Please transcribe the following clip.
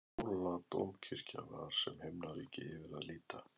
Hóladómkirkja var sem himnaríki yfir að líta.